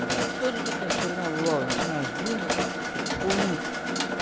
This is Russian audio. да тоже такая херня было начинаешь думать там всякую хуйню